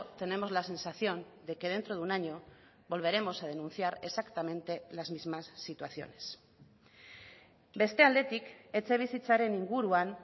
tenemos la sensación de que dentro de un año volveremos a denunciar exactamente las mismas situaciones beste aldetik etxebizitzaren inguruan